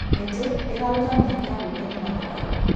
Mĩtĩ ĩraruta mĩeke ya gwĩkenia na mathako.